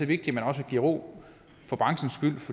vigtigt også at give ro for branchens